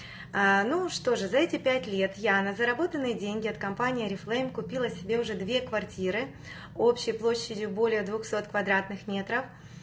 ну что же за эти пять лет я на заработанные деньги от компании орифлэйм купила себе уже две квартиры общей площадью более двухсот квадратных метров